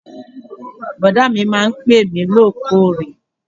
Bọ̀dá mi máa ń pè mí lóòkóòrè